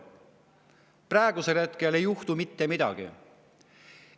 ei juhtu mitte midagi.